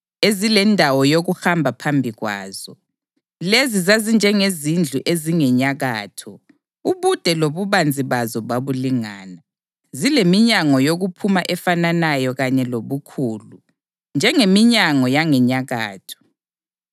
ezilendawo yokuhamba phambi kwazo. Lezi zazinjengezindlu ezingenyakatho; ubude lobubanzi bazo babulingana, zileminyango yokuphuma efananayo kanye lobukhulu. Njengeminyango yangenyakatho,